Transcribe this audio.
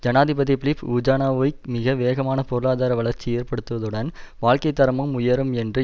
ஜனாதிபதி Filip Vujanovic மிக வேகமான பொருளாதார வளர்ச்சி ஏற்படுவதுடன் வாழ்க்கைத்தரமும் உயரும் என்று